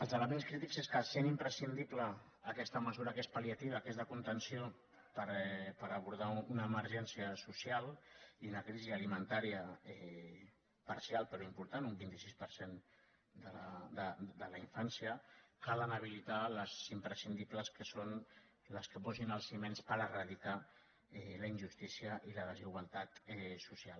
els elements crítics són que en ser imprescindible aquesta mesura que és pal·liativa que és de conten·ció per abordar una emergència social i una crisi ali·mentària parcial però important un vint sis per cent de la infància calen habilitar les imprescindibles que són les que posin els fonaments per eradicar la injustícia i la desigualtat social